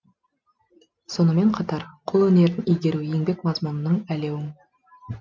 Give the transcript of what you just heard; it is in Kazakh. сонымен қатар қол өнерін игеру еңбек мазмұнының әлеум